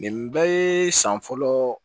Nin bɛɛ ye san fɔlɔ